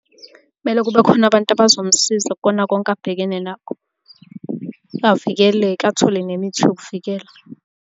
Kumele kube khona abantu abazomsiza kukona konke abhekene nakho, avikeleke athole nemithi yokuvikela.